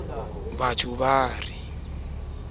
ka hloko o nto araba